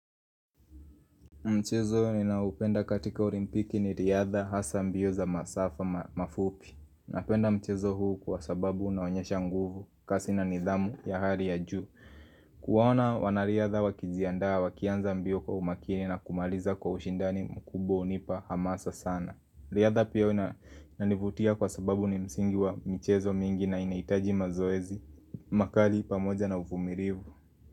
Mchezo ninaoupenda katika olimpiki ni riadha hasa mbio za masafa mafupi. Napenda mchezo huu kwa sababu unaonyesha nguvu kasi na nidhamu ya hali ya juu. Kuwaona wanariadha wakijiandaa wakianza mbio kwa umakini na kumaliza kwa ushindani mkubwa hunipa hamasa sana. Riadha pia huwa inanivutia kwa sababu ni msingi wa michezo mingi na inahitaji mazoezi. Makali pamoja na uvumilivu.